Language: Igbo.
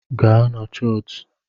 Gaa na chọọchị!